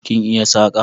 Kin iya saƙa?